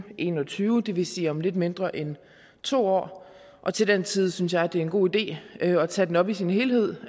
en og tyve det vil sige om lidt mindre end to år og til den tid synes jeg det er en god idé at tage den op i sin helhed